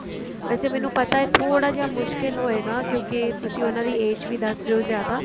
ਵੈਸੇ ਮੈਨੂੰ ਥੋੜਾ ਜਾ ਮੁਸ਼ਕਿਲ ਹੋਏਗਾ ਕਿਉਂਕਿ ਤੁਸੀਂ ਉਹਨਾ ਦੀ age ਵੀ ਦੱਸ ਰਹੇ ਹੋ ਜਿਆਦਾ